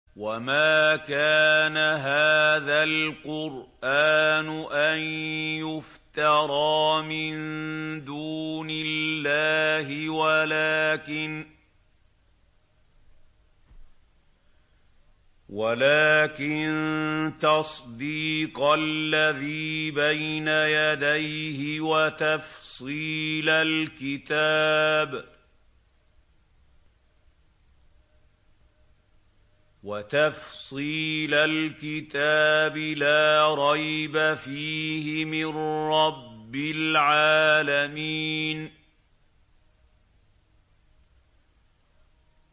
وَمَا كَانَ هَٰذَا الْقُرْآنُ أَن يُفْتَرَىٰ مِن دُونِ اللَّهِ وَلَٰكِن تَصْدِيقَ الَّذِي بَيْنَ يَدَيْهِ وَتَفْصِيلَ الْكِتَابِ لَا رَيْبَ فِيهِ مِن رَّبِّ الْعَالَمِينَ